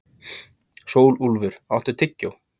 Sólúlfur, áttu tyggjó?